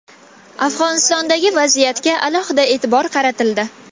Afg‘onistondagi vaziyatga alohida e’tibor qaratildi.